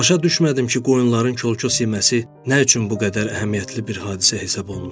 Başa düşmədim ki, qoyunların kol-kos yeməsi nə üçün bu qədər əhəmiyyətli bir hadisə hesab olunur.